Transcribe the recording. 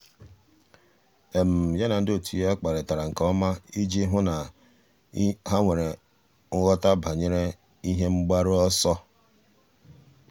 yá na ndị otu ya kparịtara nke ọma iji hụ́ na há nwere nghọta banyere ihe mgbaru ọsọ.